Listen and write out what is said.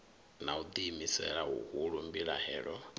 na u ḓiimisela huhulu mbilahelo